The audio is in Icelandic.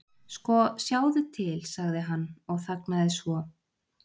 Sko, sjáðu til.- sagði hann og þagnaði svo.